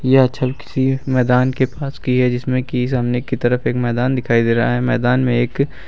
यह छव किसी मैदान के पास की है जिसमें कि सामने की तरफ एक मैदान दिखाई दे रहा है मैदान में एक--